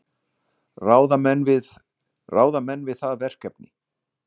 Ráða menn við það verkefni?